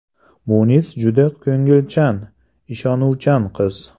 Munis juda ko‘ngilchan, ishonuvchan qiz.